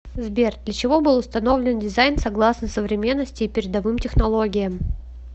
сбер для чего был установлен дизайн согласно современности и передовым технологиям